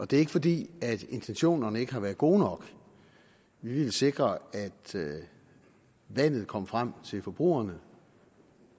det er ikke fordi intentionerne ikke har været gode nok vi ville sikre at vandet kom frem til forbrugerne